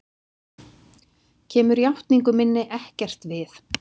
Kemur játningu minni ekkert við.